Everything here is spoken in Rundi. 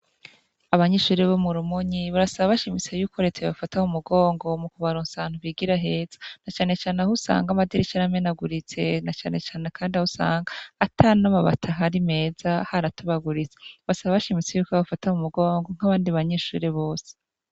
Abanyeshure bo mu Rumonyi barasaba bashimitse ko reta yobafata mumugongo mukubaronsa ahantu bigira heza na cane cane aho usanga amadirisha yamenaguritse na canecane Kandi aho usanga atana mabati ahari meza hatobaguritse basaba bashimitse ko bobafata mumugongo nkabandi banyeshure bose.